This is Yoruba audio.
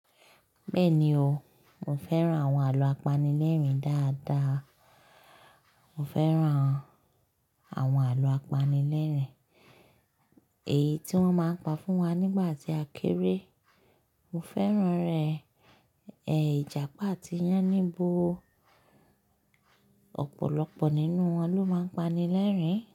Bẹ́ẹ̀ni o, mo fẹ́ràn àwọn àlọ́ apanilẹ́rìn dáadáa. Mo fẹ́ràn àwọn àlọ́ apanilẹ́rìn, èyí tí wọ́n máa ń pa fún wa nígbà tí a kéré. Mo fẹ́ràn rẹ̀, ẹ́, Ìjàpá àti yánníbo. Ọ̀pọ̀lọpọ̀ nínú wọn ló máa ń pani lẹ́rìn-ín.